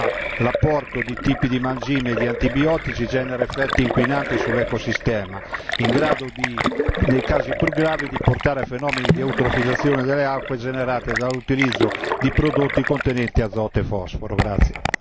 Infatti, come è noto, nell'acquacoltura l'apporto di tipi di mangime e di antibiotici genera effetti inquinanti sull'ecosistema in grado, nei casi più gravi, di portare a fenomeni di eutrofizzazione delle acque generati dall'utilizzo di prodotti contenenti azoto e fosforo.